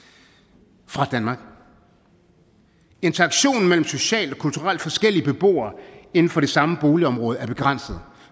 og fra danmark interaktionen mellem socialt og kulturelt forskellige beboere inden for det samme boligområde er begrænset